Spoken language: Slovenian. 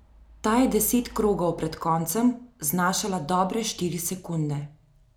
Ta je deset krogov pred koncem znašala dobre štiri sekunde.